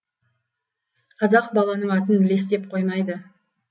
қазақ баланың атын лес деп қоймайды